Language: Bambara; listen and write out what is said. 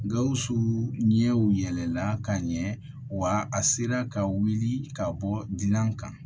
Gawusu ɲɛw yɛlɛla ka ɲɛ wa a sera ka wuli ka bɔ gilan kan